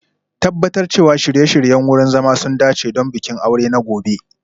Tabbatar cewa shirye-shiryen wurin zama sun dace don bikin aure na gobe